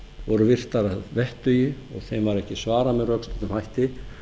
voru virtar að vettugi og þeim var ekki svarað með rökstuddum hætti